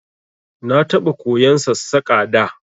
Na taɓa koyan Sassaƙa da